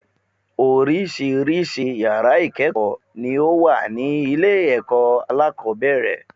Oríṣiríṣi yàrá ìkéèkó ni ó wà ní ilé èkó alákòóbèrè